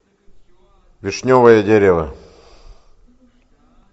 вишневое дерево